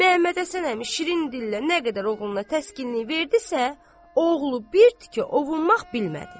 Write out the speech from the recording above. Məmmədhəsən əmi şirin dillə nə qədər oğluna təskinlik verdizsə, oğlu bir tikə ovunmaq bilmədi.